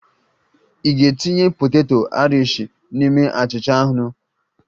Ị ga-etinye poteto Aịrishi n'ime achịcha anụ?